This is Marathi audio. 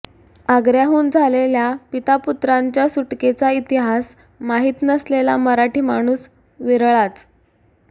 आग्र्याहून झालेल्या पितापुत्रांच्या सुटकेचा इतिहास माहित नसलेला मराठी माणूस विरळाच